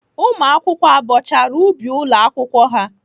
Ụmụakwụkwọ abọchara ubi ụlọ akwụkwọ ha?